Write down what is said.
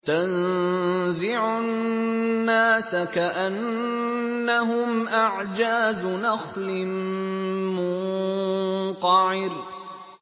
تَنزِعُ النَّاسَ كَأَنَّهُمْ أَعْجَازُ نَخْلٍ مُّنقَعِرٍ